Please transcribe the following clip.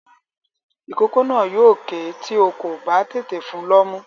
Ìkókó náà yóò kè é tí o kò bá tètè fun lọ́mú.